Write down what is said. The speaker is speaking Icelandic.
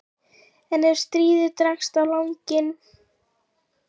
En ef stríðið dregst á langinn?